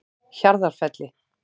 Hjarðarfelli